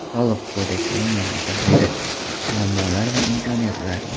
Soliq kodeksining yangi tahriri: muammolar va imkoniyatlar.